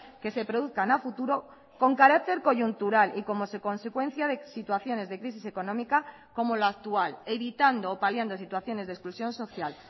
que se produzcan a futuro con carácter coyuntural y como se consecuencia de situaciones de crisis económica como la actual evitando o paliando situaciones de exclusión social